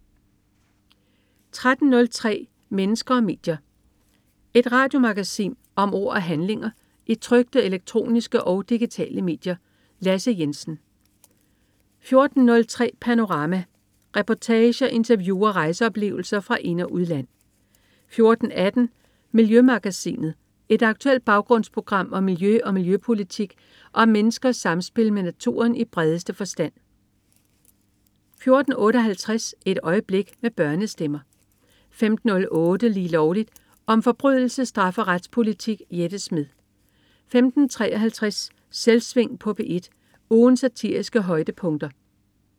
13.03 Mennesker og medier. Et radiomagasin om ord og handlinger i trykte, elektroniske og digitale medier. Lasse Jensen 14.03 Panorama. Reportager, interview og rejseoplevelser fra ind- og udland 14.18 Miljømagasinet. Et aktuelt baggrundsprogram om miljø og miljøpolitik og om menneskers samspil med naturen i bredeste forstand 14.58 Et Øjeblik med børnestemmer 15.08 Lige Lovligt. Om forbrydelse, straf og retspolitik. Jette Smed 15.53 Selvsving på P1. Ugens satiriske højdepunkter